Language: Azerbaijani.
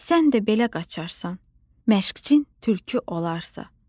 Sən də belə qaçarsan məşqçin tülkü olarsa.